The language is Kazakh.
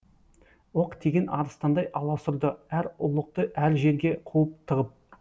оқ тиген арыстандай аласұрды әр ұлықты әр жерге қуып тығып